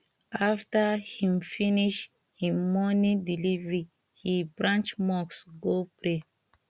after him finish him morning delivery he branch mosque go pray